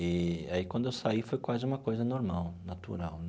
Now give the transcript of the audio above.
Eee aí, quando eu saí, foi quase uma coisa normal, natural.